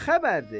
Nə xəbərdir?